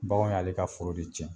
Bakanw y'ale ka foro de cɛn.